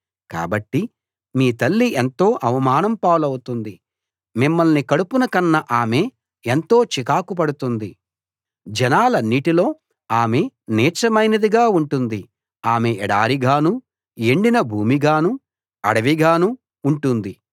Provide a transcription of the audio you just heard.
కాబట్టి మీ తల్లి ఎంతో అవమానం పాలవుతుంది మిమ్మల్ని కడుపున కన్న ఆమె ఎంతో చీకాకుపడుతుంది జనాలన్నిటిలో ఆమె నీచమైనదిగా ఉంటుంది ఆమె ఎడారిగానూ ఎండిన భూమిగానూ అడవిగానూ ఉంటుంది